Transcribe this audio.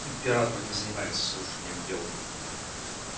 император не занимается слушанием дел